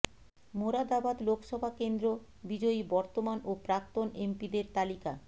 মোরাদাবাদ লোকসভা কেন্দ্র বিজয়ী বর্তমান ও প্রাক্তন এমপিদের তালিকা